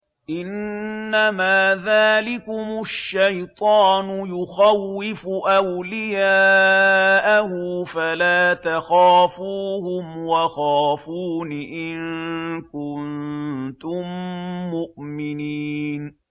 إِنَّمَا ذَٰلِكُمُ الشَّيْطَانُ يُخَوِّفُ أَوْلِيَاءَهُ فَلَا تَخَافُوهُمْ وَخَافُونِ إِن كُنتُم مُّؤْمِنِينَ